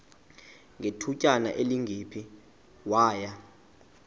ngethutyana elingephi waya